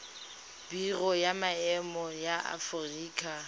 biro ya maemo ya aforika